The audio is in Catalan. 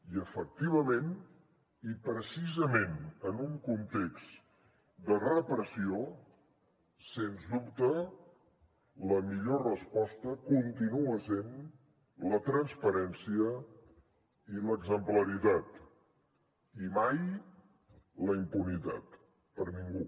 i efectivament i precisament en un context de repressió sens dubte la millor resposta continua sent la transparència i l’exemplaritat i mai la impunitat per a ningú